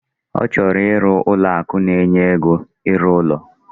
Ochoro iru Ụlọ akụ na enye ego iru ulo